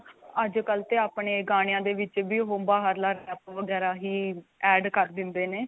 ਅੱਜਕਲ ਤੇ ਆਪਣੇ ਗਾਣਿਆਂ ਦੇ ਵਿੱਚ ਵੀ ਉਹ ਬਾਹਰਲਾ ਰੈਪ ਵਗੈਰਾ ਹੀ add ਕਰ ਦਿੰਦੇ ਨੇ.